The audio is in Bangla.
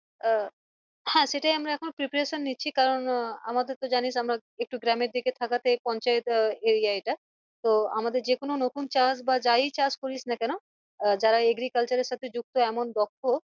আহ হ্যাঁ সেটাই আমরা এখন preparation নিচ্ছি কারণ আহ আমাদের তো জনিস আমরা একটু গ্রামের দিকে থাকা তে পঞ্চায়েত আহ area এটা তো আমাদের যেকোনো নতুন চাষ বা যাই চাষ করিস না কেনো আহ যারা agriculture এর সাথে যুক্ত এমন দক্ষ